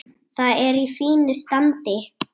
Það er í fínu standi.